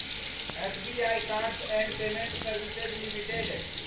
SBI cards and payment services limited